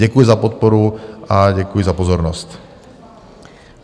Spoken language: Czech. Děkuji za podporu a děkuji za pozornost.